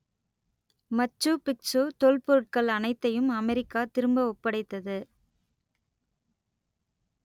மச்சு Picchu தொல்பொருட்கள் அனைத்தையும் America திரும்ப ஒப்படைத்தது